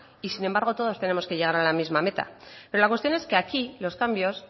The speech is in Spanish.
y sin embargo todos tenemos que llegar a la misma meta pero la cuestión es que aquí los cambios